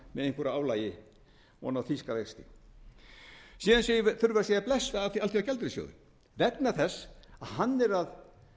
einhverju álagi ofan á þýska vexti síðan þurfum við að segja bless við alþjóðagjaldeyrissjóðinn vegna þess að hann er að